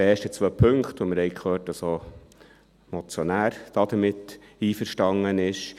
Wir haben gehört, dass auch der Motionär damit einverstanden ist.